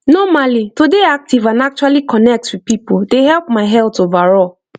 normally to dey active and actually connect with people dey help my health overall